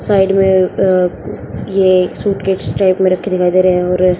side में ये एक सूटकेस टाइप में रखे दिखाई दे रहा है और--